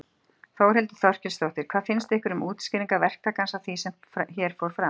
Þórhildur Þorkelsdóttir: Hvað finnst ykkur um útskýringar verktakans á því sem hér fór fram?